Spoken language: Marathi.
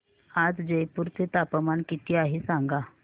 आज जयपूर चे तापमान किती आहे सांगा